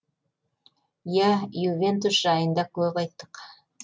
иә ювентус жайында көп айттық